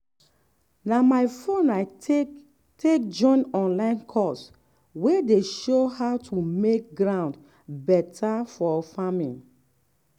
na my phone i take take join online course wey dey show how to make ground better for farming.